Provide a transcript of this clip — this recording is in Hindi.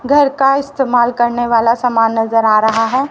घर का इस्तेमाल करने वाला सामान नजर आ रहा है।